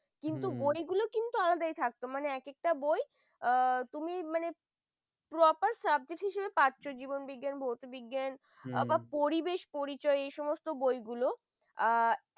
কিন্তু বইগুলো কিন্তু আলাদা তাই থাকতো হম মানে এক একটা বই আ তুমি proper subject হিসেবে পাছও জীবন বিজ্ঞান ভৌতিক বিজ্ঞান আর পরিবেশ পরিচয় এই সমস্ত বইগুলো আ